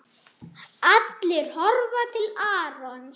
Allir horfa til Arons.